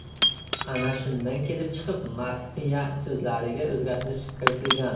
Ana shundan kelib chiqib madhiya so‘zlariga o‘zgartirish kiritilgan.